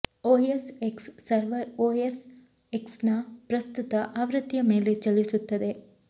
OS X server OS ಎಕ್ಸ್ನ ಪ್ರಸ್ತುತ ಆವೃತ್ತಿಯ ಮೇಲೆ ಚಲಿಸುತ್ತದೆ